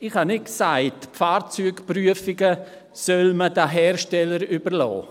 Ich habe nicht gesagt, man solle die Fahrzeugprüfungen den Herstellern überlassen.